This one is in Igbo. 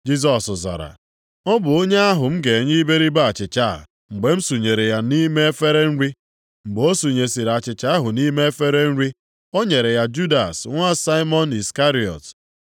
Jisọs zara, “Ọ bụ onye ahụ m ga-enye iberibe achịcha a mgbe m sunyere ya nʼime efere nri.” Mgbe o sunyesịrị achịcha ahụ nʼime efere ahụ, o nyere ya Judas nwa Saimọn Iskarịọt.